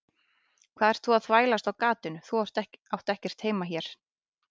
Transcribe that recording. Hvað ert þú að þvælast á gatinu, þú átt ekkert heima hérna.